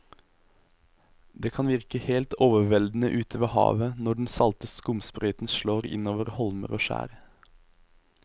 Det kan virke helt overveldende ute ved havet når den salte skumsprøyten slår innover holmer og skjær.